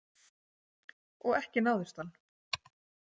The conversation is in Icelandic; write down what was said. Og ekki náðist hann.